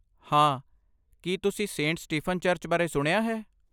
ਹਾਂ.. ਕੀ ਤੁਸੀਂ ਸੇਂਟ ਸਟੀਫਨ ਚਰਚ ਬਾਰੇ ਸੁਣਿਆ ਹੈ?